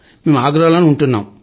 మేము ఆగ్రాలో ఉంటున్నాం